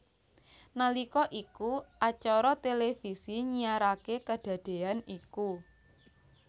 Nalika iku acara televisi nyiaraké kadadéyan iku